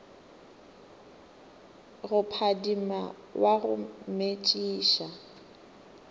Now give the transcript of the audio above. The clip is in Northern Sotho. go phadima wa go metšiša